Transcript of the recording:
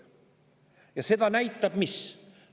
Ja seda näitab mis?